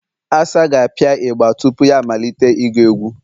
Asa ga-apịa igba tupu ya amalite ịgụ egwụ